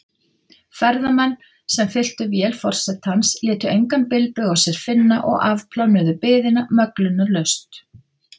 Ferðamenn, sem fylltu vél forsetans, létu engan bilbug á sér finna og afplánuðu biðina möglunarlaust.